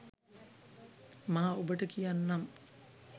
මා ඔබට කියන්නම්